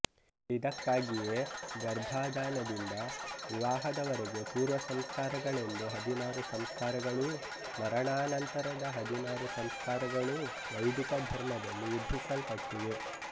ಇದಕ್ಕಾಗಿಯೇ ಗರ್ಭಾದಾನದಿಂದ ವಿವಾಹದವರೆಗೆ ಪೂರ್ವ ಸಂಸ್ಕಾರಗಳೆಂದು ಹದಿನಾರು ಸಂಸ್ಕಾರಗಳೂ ಮರಣಾನಂತರದ ಹದಿನಾರು ಸಂಸ್ಕಾರಗಳೂ ವೈದಿಕ ಧರ್ಮದಲ್ಲಿ ವಿಧಿಸಲ್ಪಟ್ಟಿವೆ